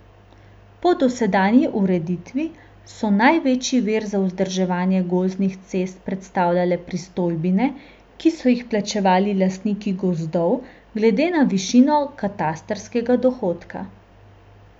Po dosedanji ureditvi so največji vir za vzdrževanje gozdnih cest predstavljale pristojbine, ki so jih plačevali lastniki gozdov glede na višino katastrskega dohodka.